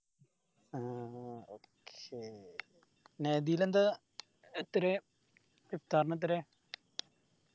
ആഹ് okay നഹ്‌ദീൽ എന്താ എത്രയാ ഇഫ്താറിന് എത്രയാ